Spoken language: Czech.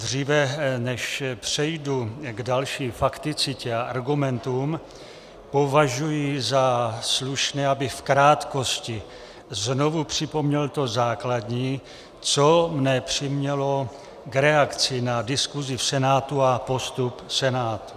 Dříve než přejdu k další fakticitě a argumentům, považuji za slušné, abych v krátkosti znovu připomněl to základní, co mne přimělo k reakci na diskusi v Senátu a postup Senátu.